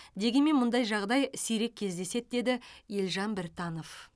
дегенмен мұндай жағдай сирек кездеседі деді елжан біртанов